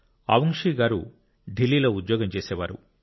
అవుంగ్షీ గారు ఢిల్లీలో ఉద్యోగం చేసేవారు